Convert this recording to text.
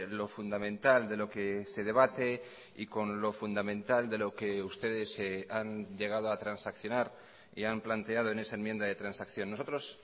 lo fundamental de lo que se debate y con lo fundamental de lo que ustedes han llegado a transaccionar y han planteado en esa enmienda de transacción nosotros